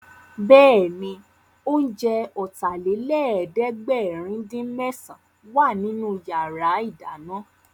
Bẹ́ẹ̀ni, oúnjẹ Ọ̀tàlélẹ̀ẹ́dẹ́gbẹ̀rin-dín-mésàn wà nínú yàrá ìdáná